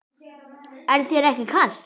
Er þér ekki kalt?